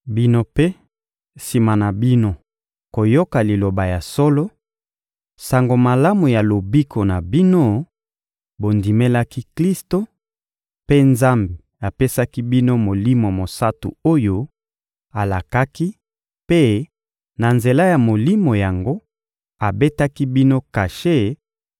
Bino mpe, sima na bino koyoka Liloba ya solo, Sango Malamu ya lobiko na bino, bondimelaki Klisto; mpe Nzambe apesaki bino Molimo Mosantu oyo alakaki mpe, na nzela ya Molimo yango, abetaki bino kashe